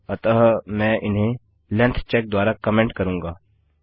अतः मैं इन्हें लेंग्थ चेक द्वारा कमेन्ट करूँगा